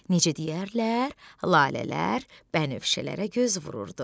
Necə deyərlər, lalələr bənövşələrə göz vururdu.